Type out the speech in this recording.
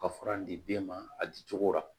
Ka fura di den ma a di cogo rɔ